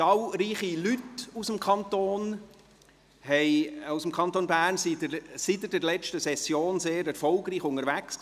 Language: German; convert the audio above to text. Zahlreiche Leute aus dem Kanton Bern waren seit der letzten Session sehr erfolgreich unterwegs.